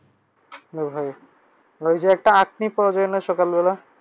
হ্যাঁ ভাই। ঐ যে একটা সকালবেলা?